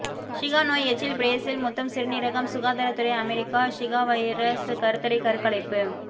Zika நோய் எச்சில் Brazil முத்தம் சிறுநீரகம் சுகாதாரத்துறை அமெரிக்கா ஸிகா வைரஸ் கருத்தடை கருக்கலைப்பு